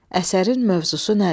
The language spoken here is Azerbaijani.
Əsərin mövzusu nədir?